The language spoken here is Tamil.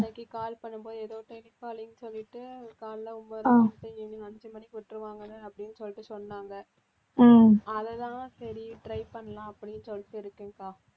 அன்னைக்கு call பண்ணும்போது ஏதோ telecalling சொல்லிட்டு காலைல ஒன்பதரை மணிக்கு போய் evening அஞ்சு மணிக்கு விட்டுருவாங்கன்னு அப்படின்னு சொல்லிட்டு சொன்னாங்க அதுதான் சரி try பண்ணலாம் அப்படின்னு சொல்லிட்டு இருக்கேன்கா